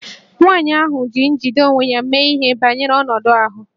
Nwaanyị ahụ ji njide onwe onye mee ihe banyere ọnọdụ ahụ